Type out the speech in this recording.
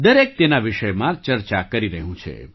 દરેક તેના વિષયમાં ચર્ચા કરી રહ્યું છે